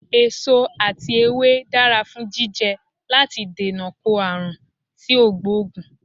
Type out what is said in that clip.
Èso ati ewé dara fun jijẹ lati dènà ko aarun ti o gboogun